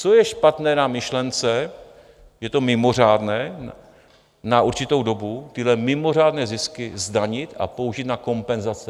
Co je špatné na myšlence - je to mimořádné - na určitou dobu tyhle mimořádné zisky zdanit a použít na kompenzace?